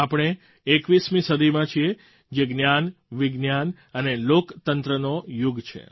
આપણે એકવીસમી સદીમાં છીએ જે જ્ઞાનવિજ્ઞાન અને લોકતંત્રનો યુગ છે